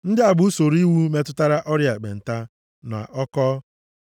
Ndị a bụ usoro iwu metụtara ọrịa ekpenta, na ọkọ,